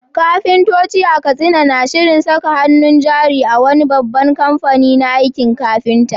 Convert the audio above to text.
Kafintoci a Katsina na shirin saka hannun jari a wani babban kamfani na aikin kafinta.